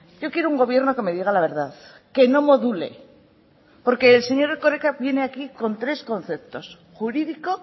yo quiero un gobierno que me diga la verdad que no module porque el señor erkoreka viene aquí con tres conceptos jurídico